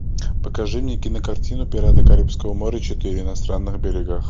покажи мне кинокартину пираты карибского моря четыре на странных берегах